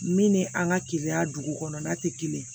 Min ni an ka kiiya dugu kɔnɔna tɛ kelen ye